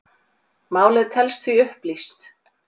Málið telst því upplýst